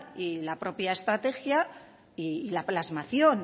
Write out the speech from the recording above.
y la propia estrategia y la plasmación